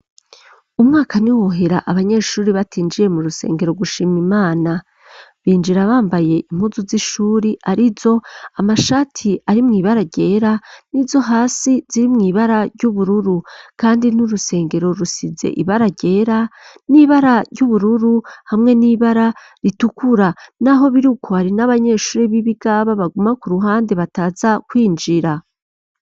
Umwaka, ntiwohera, abanyeshuri, batinjiye mu rusengero, gushima Imana; binjira bambaye, impuzu z'ishuri, arizo: amashati ari mw'ibara ryera, n'izo hasi ziri mw'ibara ry'ubururu; kandi, n'urusengero, rusize ibara ryera, n'ibara ry'ubururu, hamwe n'ibara ritukura; n'aho biri uko, hari n'abanyeshuri, b'ibigaba, baguma ku ruhande, bataza kwinjira.